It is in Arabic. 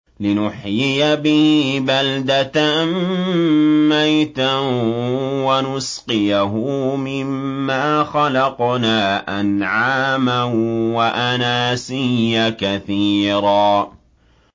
لِّنُحْيِيَ بِهِ بَلْدَةً مَّيْتًا وَنُسْقِيَهُ مِمَّا خَلَقْنَا أَنْعَامًا وَأَنَاسِيَّ كَثِيرًا